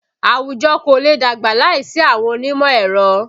Àwùjọ kò lè dàgbà láìsí àwọn onímọ̀ ẹ̀rọ